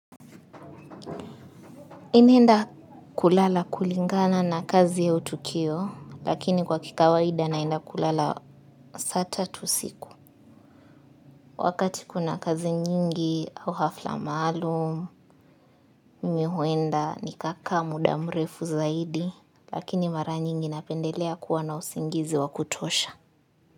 Ninaenda kulala kulingana na kazi au tukio, lakini kwa kikawaida naenda kulala saa tatu usiku. Wakati kuna kazi nyingi au hafla maalum, mimi huenda nikaka mudamrefu zaidi, lakini mara nyingi napendelea kuwa na usingizi wa kutosha.